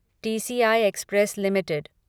TCI Express limited